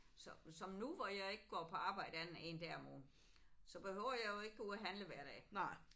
Så som nu hvor jeg ikke går på arbejde andet end en dag om ugen så behøver jeg jo ikke gå ud og handle hver dag